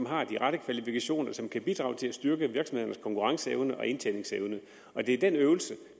har de rette kvalifikationer og som kan bidrage til at styrke virksomhedernes konkurrenceevne og indtjeningsevne og det er den øvelse